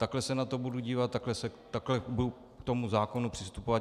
Takhle se na to budu dívat, takhle budu k tomu zákonu přistupovat.